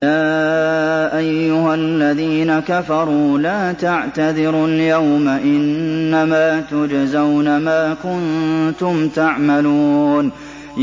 يَا أَيُّهَا الَّذِينَ كَفَرُوا لَا تَعْتَذِرُوا الْيَوْمَ ۖ إِنَّمَا تُجْزَوْنَ مَا كُنتُمْ تَعْمَلُونَ